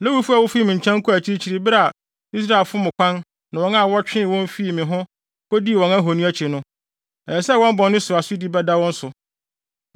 “ ‘Lewifo a wofii me nkyɛn kɔɔ akyirikyiri bere a Israel fom kwan ne wɔn a wɔtwee wɔn ho fii me ho kodii wɔn ahoni akyi no, ɛsɛ sɛ wɔn bɔne so asodi bɛda wɔn so.